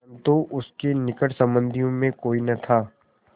परन्तु उसके निकट संबंधियों में कोई न था